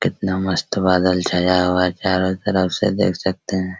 कितना मस्त बादल छाया हुआ है चारों तरफ से देख सकते हैं।